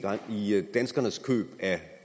danskernes køb af